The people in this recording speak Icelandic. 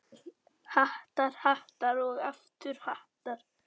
Hattar, hattar og aftur hattar.